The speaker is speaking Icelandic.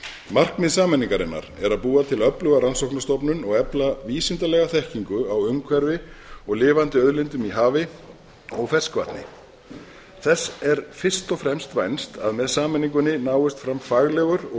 markmið sameiningarinnar er að búa til öfluga rannsóknastofnun og efla vísindalega þekkingu á umhverfi og lifandi auðlindum í hafi og ferskvatni þess er fyrst og fremst vænst að með sameiningunni náist fram faglegur og